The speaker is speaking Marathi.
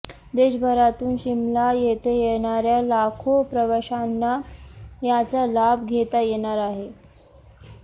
देशभरातून शिमला येथे येणाऱ्या लाखो प्रवाशांना याचा लाभ घेता येणार आहे